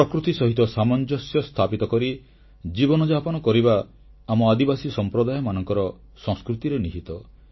ପ୍ରକୃତି ସହିତ ସାମଞ୍ଜସ୍ୟ ସ୍ଥାପିତ କରି ଜୀବନଯାପନ କରିବା ଆମ ଆଦିବାସୀ ସମ୍ପ୍ରଦାୟମାନଙ୍କର ସଂସ୍କୃତିରେ ନିହିତ